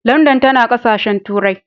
Landan tana ƙasashen turai.